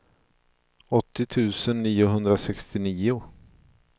åttio tusen niohundrasextionio